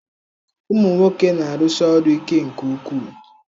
Ụmụ nwoke na-arụsi ọrụ ike nke ukwu.